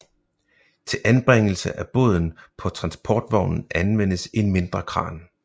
Til anbringelse af båden på transportvognen anvendtes en mindre kran